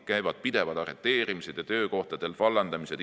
Käivad pidevad arreteerimised ja töökohtadelt vallandamised.